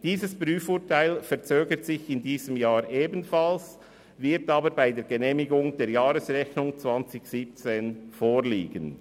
Dieses Prüfurteil verzögert sich in diesem Jahr ebenfalls, wird aber bei der Genehmigung der Jahresrechnung 2017 vorliegen.